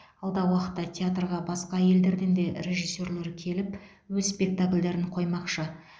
алдағы уақытта театрға басқа елдерден де режиссерлер келіп өз спектакльдерін қоймақшы